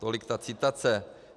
Tolik ta citace.